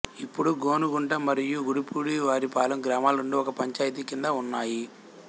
ఇప్పుడు గోనుగుంట మరియూ గుడిపూడివారిపాలెం గ్రామాలు రెండూ ఒక పంచాయతీ క్రింద ఉన్నాయి